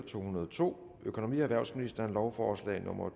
to hundrede og to økonomi og erhvervsministeren lovforslag nummer